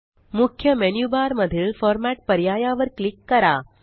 मुख्य menu bar मधीलFormat पर्याया वर क्लिक करा